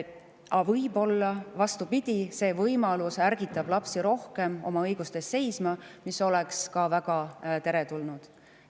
Aga võib-olla, vastupidi, ärgitab see võimalus lapsi rohkem oma õiguste eest seisma, mis oleks ka väga teretulnud.